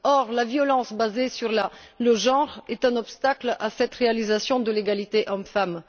Or, la violence basée sur le genre est un obstacle à cette réalisation de l'égalité hommes femmes.